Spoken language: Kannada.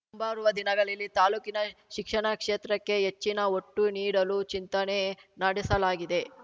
ಮುಂಬರುವ ದಿನಗಳಲ್ಲಿ ತಾಲೂಕಿನ ಶಿಕ್ಷಣ ಕ್ಷೇತ್ರಕ್ಕೆ ಹೆಚ್ಚಿನ ಒಟ್ಟು ನೀಡಲು ಚಿಂತನೆ ನಡೆಸಲಾಗಿದೆ